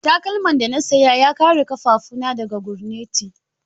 Takalman da na saya ya kare ƙafafu na daga gurnati.